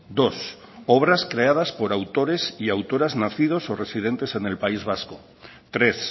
dos obras creadas por autores y autoras nacidos o residentes en el país vasco tres